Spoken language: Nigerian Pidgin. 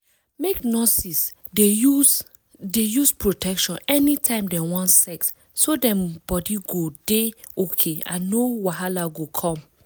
make nurses dey use dey use protection anytime dem wan sex so dem body go dey okay and no wahala go come